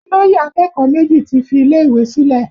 Olóyè akẹ́kọ̀ọ́ méjì ti fi ilé ìwé sílẹ̀